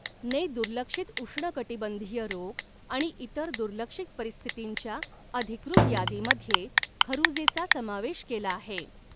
ने दुर्लक्षित उष्णकटिबंधीय रोग आणि इतर दुर्लक्षित परिस्थितींच्या अधिकृत यादीमध्ये खरुजेचा समावेश केला आहे.